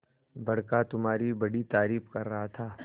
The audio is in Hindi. बड़का तुम्हारी बड़ी तारीफ कर रहा था